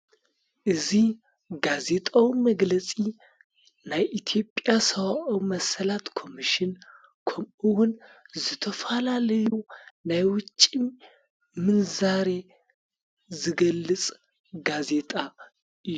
እዙ ጋዜጣዊ መግለጺ ናይ ኢቲጵያ ሰውኦ መሰላት ኮምሽን ከምኡውን ዝተፋላለዩ ናይ ወጭም ምንዛሬ ዝገልጽ ጋዜጣ እዩ